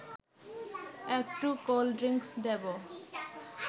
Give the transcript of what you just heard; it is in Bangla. একটু কোল্ড ড্রিংকস দেব